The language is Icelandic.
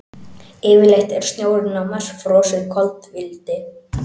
Yfirleitt er snjórinn á Mars frosið koltvíildi.